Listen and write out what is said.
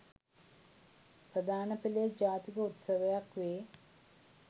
ප්‍රධාන පෙළේ ජාතික උත්සවයක් වේ.